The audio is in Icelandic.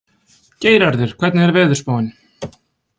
Geirarður, hvernig er veðurspáin?